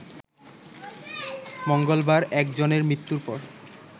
মঙ্গলবার একজনের মৃত্যুর পর